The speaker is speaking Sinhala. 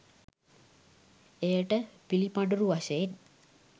එයට පිළිපඬුරු වශයෙන්